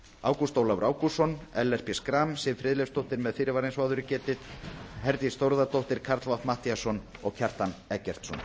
ágúst ólafur ágústsson ellert b schram siv friðleifsdóttir með fyrirvara eins og áður er getið herdís þórðardóttir karl fimmti matthíasson og kjartan eggertsson